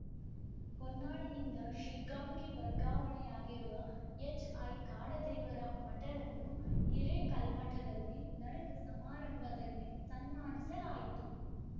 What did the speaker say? ಹೊನ್ನಾಳಿಯಿಂದ ಶಿಗ್ಗಾಂಗೆ ವರ್ಗಾವಣೆಯಾಗಿರುವ H I ಕಾಡದೇವರ ಮಠರನ್ನು ಹಿರೇಕಲ್ಮಠದಲ್ಲಿ ನಡೆದ ಸಮಾರಂಭದಲ್ಲಿ ಸನ್ಮಾನಿಸಲಾಯಿತು